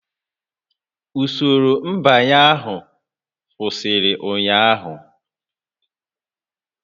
Usoro nbanye ahụ kwụsịrị ụnyaahụ